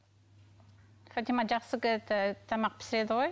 фатима жақсы это ы тамақ пісіреді ғой